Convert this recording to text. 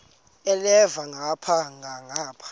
elhavela ngapha nangapha